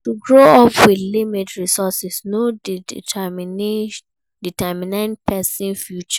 To grow up with limited resources no de determine persin future